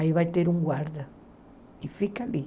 Aí vai ter um guarda e fica ali.